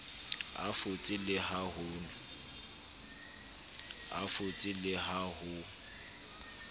a fotse le ha ho